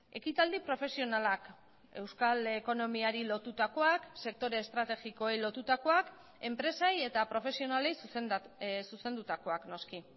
ekitaldi profesionalak euskal ekonomiari lotutakoak sektore estrategikoei lotutakoak enpresei eta profesionalei zuzendutakoak noski